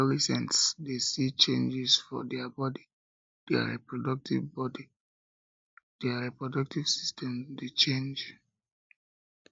adolescents de see changes for their body their reproductive body their reproductive system de change